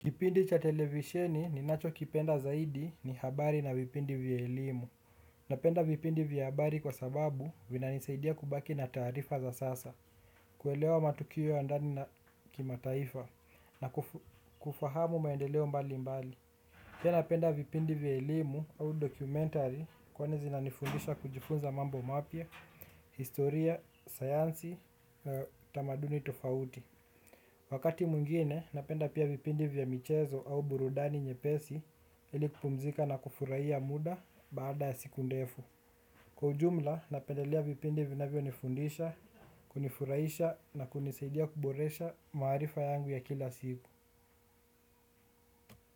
Kipindi cha televisheni, ninacho kipenda zaidi ni habari na vipindi vya elimu. Napenda vipindi vya habari kwa sababu, vina nisaidia kubaki na taarifa za sasa, kuelewa matukio yandani na kima taifa, na kufahamu maendeleo mbali mbali. Piana penda vipindi vya elimu au dokumentari, kwani zinanifundisha kujifunza mambo mapya, historia, sayansi, tamaduni tofauti. Wakati mwingine, napenda pia vipindi vya michezo au burudani nye pesi ili kupumzika na kufurahi a muda baada ya siku ndefu. Piana penda vipindi vya elimu au dokumentari, kwani zinanifundisha kujifunza mambo mapya, historia, sayansi, tamaduni tofauti.